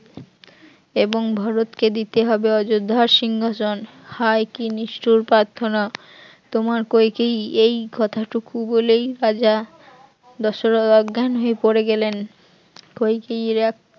এবং ভারতকে দিতে হবে অযোধ্যার সিংহাসন, হায় কি নিষ্ঠুর পার্থনা তোমার কইকেয়ীই এই কথাটুকু বলে রাজা দশরথ অজ্ঞান হয়ে পড়ে গেলেন, কইকেয়ীর এক